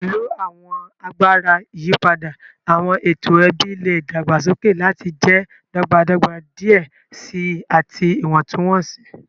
Pẹlu awọn agbara iyipada, awọn eto ẹbi le dagbasoke lati jẹ dọgbadọgba diẹ sii ati iwọntunwọnsi.